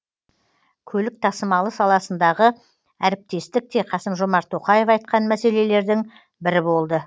көлік тасымалы саласындағы әріптестік те қасым жомарт тоқаев айтқан мәселелердің бірі болды